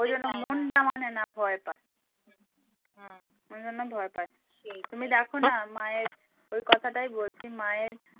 ওই জন্য মনডা মানে না ভয় পায় ওই জন্য ভয় পায় তুমি দেখো না মায়ের ওই কথাটাই বলছি মায়ের